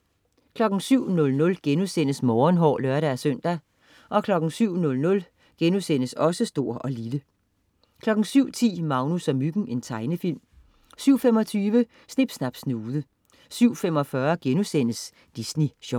07.00 Morgenhår* (lør-søn) 07.00 Stor & Lille* 07.10 Magnus og Myggen. Tegnefilm 07.25 Snip Snap Snude 07.45 Disney Sjov*